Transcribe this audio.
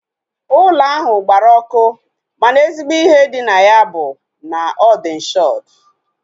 Ụlọ ahụ gbara ọkụ mana ezigbo ihe dị na ya bụ na ọ dị inshọdu